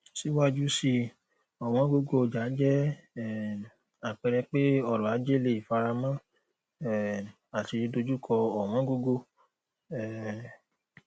síwájú síi ọwọn gogo ọjà jẹ um àpẹẹrẹ pe ọrọ ajé leè faramọ um àti dojukọ ọwọn gogo um